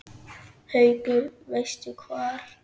Haukur: Veistu hvar?